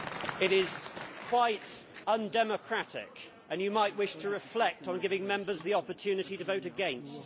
It is quite undemocratic, and you might wish to reflect on giving Members the opportunity to vote against.